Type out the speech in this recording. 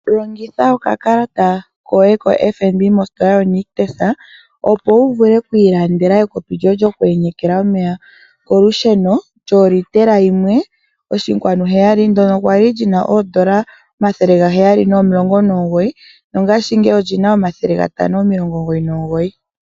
Longitha oka kalata koye ko FNB mostola yoNictus opo wu ilandele ekopi lyoye lyoku yenyeka omeya kolusheno lyo litela yimwe oshinkwanu heyali ndono kwali lina oondola N$ 719 nongaashingeyi olina omathele N$ 599.